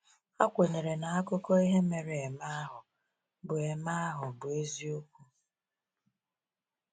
Ha kwenyere na akụkọ ihe mere eme ahụ bụ eme ahụ bụ eziokwu.